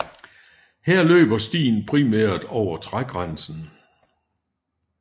Her løber stien primært over trægrænsen